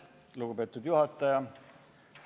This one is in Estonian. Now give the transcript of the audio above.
Lugupeetud juhataja!